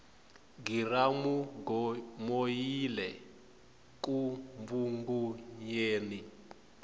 giramugomoyile ku mbvungunyeni